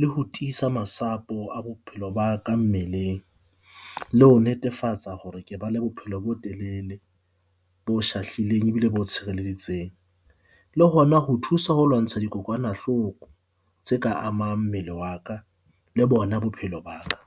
le ho tiisa masapo a bophelo ba ka mmeleng. Le ho netefatsa hore ke ba le bophelo bo telele bo shahlileng ebile bo tshireleditseng. Le hona ho thusa ho lwantsha dikokwanahloko tse ka amang mmele wa ka le bona bophelo ba ka.